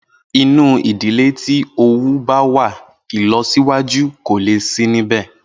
Inú ìdílé tí owú báwà ìlọsíwájú kòle sí níbẹ̀.